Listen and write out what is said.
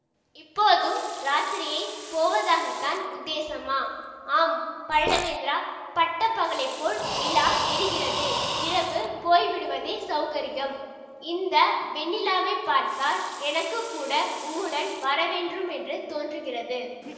இப்போதும் இராத்திரியே போவதாகத்தான் உத்தேசமா ஆம் பல்லவேந்திரா பட்ட பகலைப்போல் நிலா எரிகிறது இரவு போய்விடுவதே சௌகரியம் இந்த வெண்ணிலாவைப் பார்த்தால் எனக்குக்கூட உம்முடன் வரவேண்டுமென்று தோன்றுகிறது